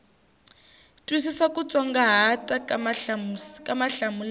twisisa kutsongo ka mahlamulelo ya